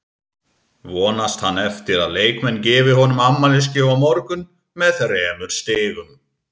Vonast hann eftir að leikmenn gefi honum afmælisgjöf á morgun með þremur stigum?